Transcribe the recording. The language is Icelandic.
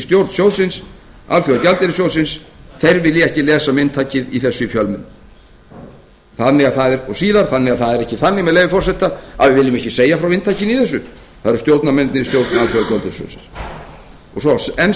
í stjórn alþjóðagjaldeyrissjóðsins vilja ekki lesa um inntakið í þessum fjölmiðlum og síðar með leyfi forseta það er ekki þannig að við viljum ekki segja frá inntakinu í þessu það eru stjórnarmennirnir í stjórn alþjóðagjaldeyrissjóðsins og svo enn